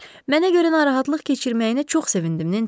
Mənə görə narahatlıq keçirməyinə çox sevindim, Nensi.